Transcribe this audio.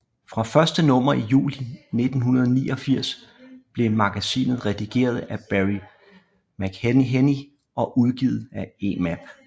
Fra første nummer i juli 1989 blev magasinet redigeret af Barry McIlheney og udgivet af Emap